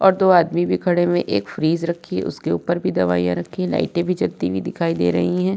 और दो आदमी भी खड़े हुए हैं एक फ्रिज रखी है उसके ऊपर भी दवाइयां रखी हैं लाइटें भी जलती हुई दिखाई दे रही हैं।